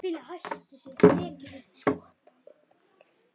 Skotra augunum í kringum mig.